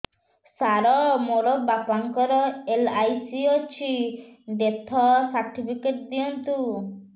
ସାର ମୋର ବାପା ଙ୍କର ଏଲ.ଆଇ.ସି ଅଛି ଡେଥ ସର୍ଟିଫିକେଟ ଦିଅନ୍ତୁ